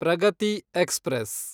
Pragathi express